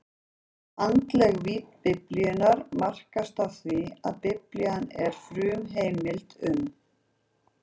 Andleg vídd Biblíunnar markast af því, að Biblían er frumheimildin um